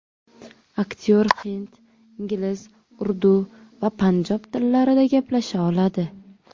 Aktyor hind, ingliz, urdu va panjob tillarida gaplasha oladi.